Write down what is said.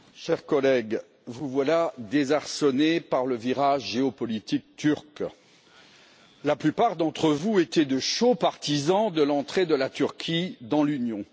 Monsieur le Président, chers collègues, vous voilà désarçonnés par le virage géopolitique turc. La plupart d'entre vous étaient de chauds partisans de l'entrée de la Turquie dans l'Union.